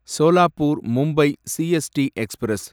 Solapur Mumbai CST express